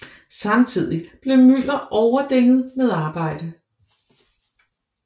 Samtidig blev Müller overdænget med arbejde